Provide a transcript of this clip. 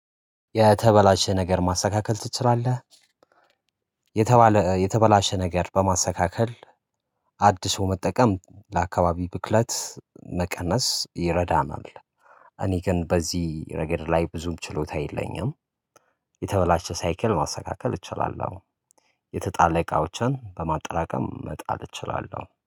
የተበላሸ ነገር ማስተካከል ትችላለህ? የተባለ የተበላሸ ነገር በማስተካከል አድሶ መጠቀም ለአካባቢ ብክለት መቀነስ ይረዳናል። እኔ ግን በዚህ ረገድ ላይ ብዙም ችሎታ የለኝም። የተበላሸ ሳይክል ማስተካከል እችላለሁ። የተጣለ እቃዎችን በማጠራቀም መጣል እችላለሁ